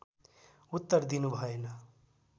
उत्तर दिनु भएन